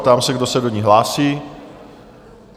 Ptám se, kdo se do ní hlásí?